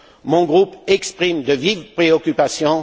Mon groupe exprime de vives préoccupations.